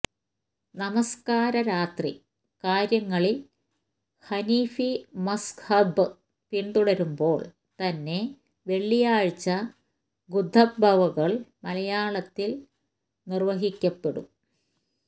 നമസ്കാരാതി കാര്യങ്ങളില് ഹനഫി മദ്ഹബ് പിന്തുടരുമ്പോള് തന്നെ വെള്ളിയാഴ്ച ഖുത്വ്ബകള് മലയാളത്തില് നിര്വഹിക്കപ്പെടും